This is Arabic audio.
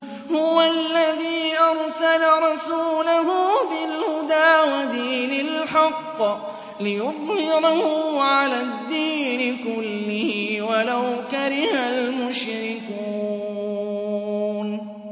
هُوَ الَّذِي أَرْسَلَ رَسُولَهُ بِالْهُدَىٰ وَدِينِ الْحَقِّ لِيُظْهِرَهُ عَلَى الدِّينِ كُلِّهِ وَلَوْ كَرِهَ الْمُشْرِكُونَ